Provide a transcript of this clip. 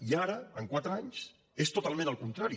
i ara en quatre anys és totalment al contrari